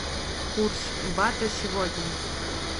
курс бата сегодня